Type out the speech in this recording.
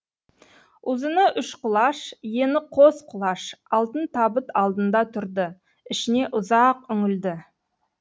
ұзыны үш құлаш ені қос құлаш алтын табыт алдында тұрды ішіне ұзақ үңілді